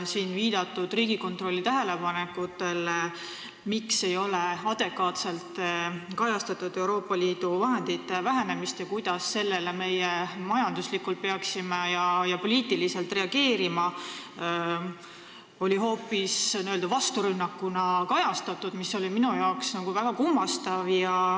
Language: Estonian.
Siin viidatud Riigikontrolli tähelepanekuid, miks ei ole adekvaatselt kajastatud Euroopa Liidu vahendite vähenemist ning kuidas me sellele vähenemisele peaksime majanduslikult ja poliitiliselt reageerima, kajastati hoopis n-ö vasturünnakuna, mis oli minu arvates väga kummastav.